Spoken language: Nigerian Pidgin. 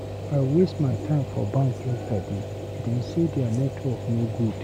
I waste my time for bank yesterday. Dem say their network no good.